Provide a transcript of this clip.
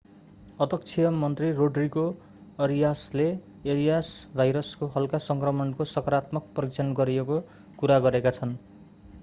अध्यक्षीय मन्त्री रोड्रिगो अरियासले एरियास भाइरसको हल्का सङ्क्रमणको सकारात्मक परीक्षण गरिएको कुरा गरेका छन्‌।